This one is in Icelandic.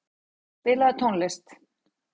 Jósef, spilaðu tónlist.